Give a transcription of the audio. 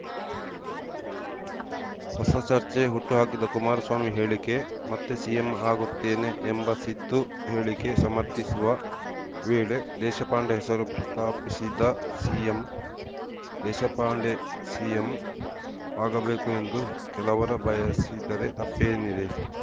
ಹೊಸ ಚರ್ಚೆ ಹುಟ್ಟುಹಾಕಿದ ಕುಮಾರಸ್ವಾಮಿ ಹೇಳಿಕೆ ಮತ್ತೆ ಸಿಎಂ ಆಗುತ್ತೇನೆ ಎಂಬ ಸಿದ್ದು ಹೇಳಿಕೆ ಸಮರ್ಥಿಸುವ ವೇಳೆ ದೇಶಪಾಂಡೆ ಹೆಸರು ಪ್ರಸ್ತಾಪಿಸಿದ ಸಿಎಂ ದೇಶಪಾಂಡೆ ಸಿಎಂ ಆಗಬೇಕು ಎಂದು ಕೆಲವರ ಬಯಸಿದರೆ ತಪ್ಪೇನಿದೆ